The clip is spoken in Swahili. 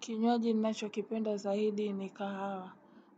Kinywaji ninacho kipenda zaidi ni kahawa.